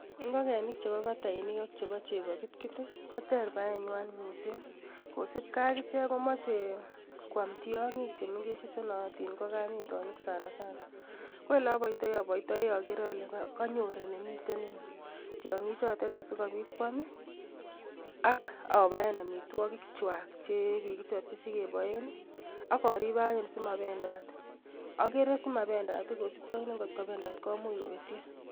Ngokenik chebobatainikak chebo chepokitkit, koter boenywai. Ngikenik cheb batainik ak chebo chepokitkit koter baenywai mising, kosupkei ak ichek komachei koam tiong'ik chemengech che naatin kokanyitonik sanasana. Ko ole aboitoi, aboitoi agere ale kanyor yemitei tiong'ik chotet asikobit koam. Ak abaen amitwagik kwai chekikichopchi sigeboen. Ak aribe anyu simabendat. Agere simabendat kosupkei ne nvot ko bendat komuch kobetyo.